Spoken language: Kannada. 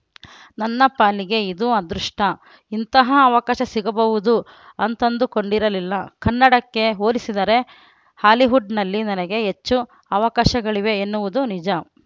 ನನ್ನ ಪಾಲಿಗೆ ಇದು ಅದೃಷ್ಟ ಇಂತಹ ಅವಕಾಶ ಸಿಗಬಹುದು ಅಂತಂದುಕೊಂಡಿರಲಿಲ್ಲ ಕನ್ನಡಕ್ಕೆ ಹೋಲಿಸಿದರೆ ಹಾಲಿವುಡ್‌ನಲ್ಲಿ ನನಗೆ ಹೆಚ್ಚು ಅವಕಾಶಗಳಿವೆ ಎನ್ನುವುದು ನಿಜ